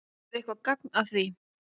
Er eitthvert gagn að því?